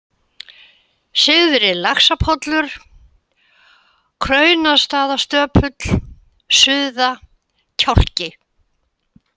Syðri-Laxapollur, Kraunastaðastöpull, Suða, Kjálki